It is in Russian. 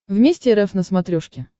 вместе рф на смотрешке